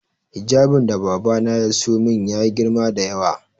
Hijabin da babana ya siyo min ya yi girma da yawa